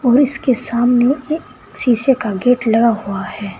और इसके सामने एक शीशे का गेट लगा हुआ है।